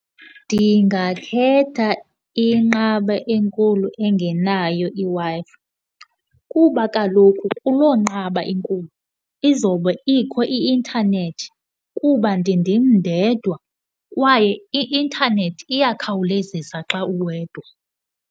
Ndingakhetha inqaba enkulu engenayo iWi-Fi kuba kaloku kuloo nqaba inkulu izowube ikho i-intanethi kuba ndindim ndedwa kwaye i-intanethi iyakhawulezisa xa uwedwa.